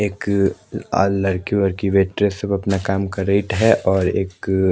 एक आ लडकी वडकी बेठ के सब अपना काम कर रही है और एक--